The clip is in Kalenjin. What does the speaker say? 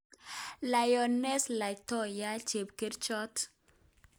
Lioness Latoya:Chepkerichot